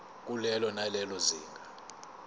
kulelo nalelo zinga